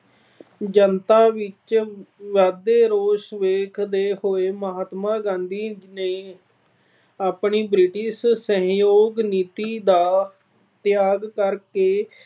ਜਨਤਾ ਵਿੱਚ ਵਧਦੇ ਰੋਸ ਵੇਖਦੇ ਹੋਏ ਮਹਾਤਮਾ ਗਾਂਧੀ ਨੇ ਆਪਣੀ British ਸਹਿਯੋਗ ਨੀਤੀ ਦਾ ਤਿਆਗ ਕਰਕੇ